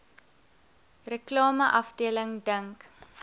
reklame afdeling dink